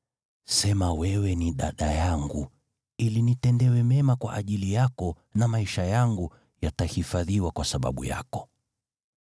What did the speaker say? Sema wewe ni dada yangu, ili nitendewe mema kwa ajili yako, na maisha yangu yatahifadhiwa kwa sababu yako.”